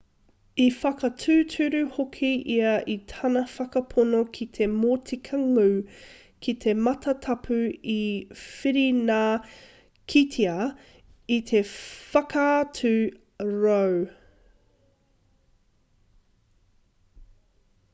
i whakatūturu hoki ia i tana whakapono ki te motika ngū ki te matatapu i whirinakitia e te whakatau roe